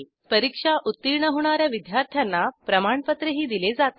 परीक्षा उत्तीर्ण होणा या विद्यार्थ्यांना प्रमाणपत्रही दिले जाते